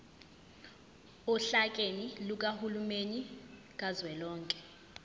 ohlakeni lukahulumeni kazwelonke